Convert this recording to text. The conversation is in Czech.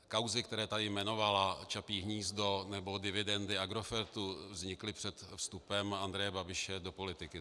Kauzy, které tady jmenovala, Čapí hnízdo nebo dividendy Agrofertu, vznikly před vstupem Andreje Babiše do politiky.